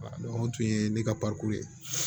o tun ye ne ka ye